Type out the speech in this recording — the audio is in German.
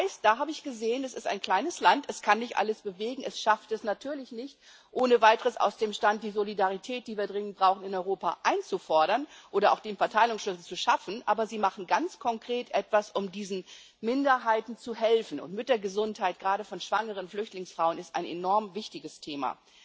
Das heißt, da habe ich gesehen Es ist ein kleines Land, es kann nicht alles bewegen, es schafft es natürlich nicht ohne Weiteres aus dem Stand, die Solidarität, die wir dringend brauchen, in Europa einzufordern oder auch den Verteilungsschlüssel zu schaffen, aber Sie machen ganz konkret etwas, um diesen Minderheiten zu helfen, und Müttergesundheit gerade von schwangeren Flüchtlingsfrauen ist ein enorm wichtiges Thema.